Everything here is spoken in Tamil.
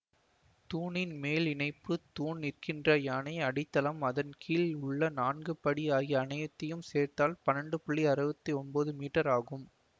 தூணின் மேல் இணைப்பு தூண் நிற்கின்ற யானை அடித்தளம் அதன் கீழ் உள்ள நான்கு படி ஆகிய அனைத்தையும் சேர்த்தால் பன்னெண்டு புள்ளி அறுவத்தி ஒன்போது மீட்டர் ஆகும்